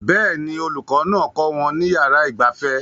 Bẹ́ẹ̀ ni olùkọ́ náà kọ́ wọn ní yàrá ìgbafẹ́